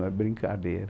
Não é brincadeira.